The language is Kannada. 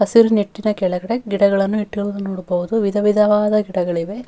ಹಸಿರು ನೆಟ್ಟಿನ ಕೆಳಗಡೆ ಗಿಡಗಳನ್ನು ನೆಟ್ಟಿರುದು ನೋಡಬಹುದು ವಿಧ ವಿಧವಾದ ಗಿಡಗಳಿವೆ.